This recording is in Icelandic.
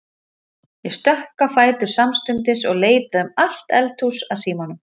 Ég stökk á fætur samstundis og leitaði um allt eldhús að símanum.